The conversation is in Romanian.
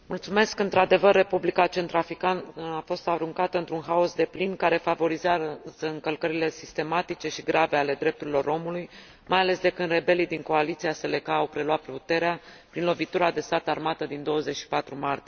Într adevăr, Republica Centrafricană a fost aruncată într un haos deplin, care favorizează încălcările sistematice și grave ale drepturilor omului, mai ales de când rebelii din coaliția Seleka au preluat puterea, prin lovitura de stat armată din 24 martie.